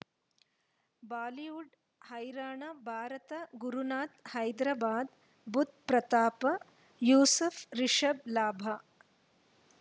Bollywood ಹೈರಾಣ ಭಾರತ ಗುರುನಾಥ ಹೈದರಾಬಾದ್ ಬುಧ್ ಪ್ರತಾಪ ಯೂಸುಫ್ ರಿಷಬ್ ಲಾಭ